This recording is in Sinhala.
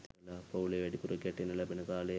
පවු‍ලේ වැඩිපුර ගැටෙන්න ලැබෙන කාලය හරි අඩුයි.